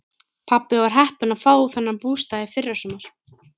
Pabbi var heppinn að fá þennan bústað í fyrrasumar.